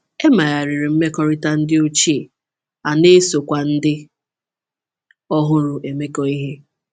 E megharịrị mmekọrịta ndị ochie, a na-esokwa ndị ọhụrụ emekọ ihe.